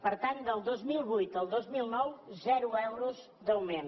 per tant del dos mil vuit al dos mil nou zero euros d’augment